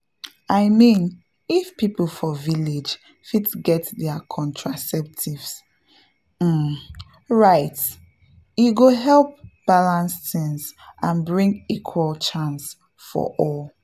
i mean if people for village fit get their contraceptive um rights e go help balance things and bring equal chance for all.